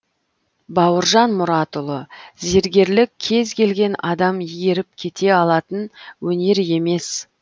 бауыржан мұратұлы зергерлік кез келген адам еріп кете алатын өнер емес